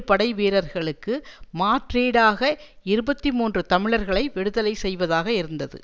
படைவீரர்களுக்கு மாற்றீடாக இருபத்தி மூன்று தமிழர்களை விடுதலை செய்வதாக இருந்தது